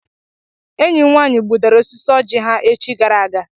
Enyi m nwaanyị gbudara osisi ọjị ha echi gara aga.